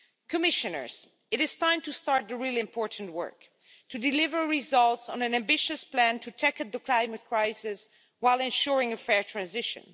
Commissioners, it is time to start the really important work to deliver results on an ambitious plan to tackle the climate crisis while ensuring a fair transition